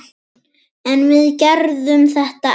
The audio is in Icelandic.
En við gerðum þetta ekki!